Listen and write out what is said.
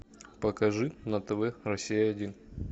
покажи на тв россия один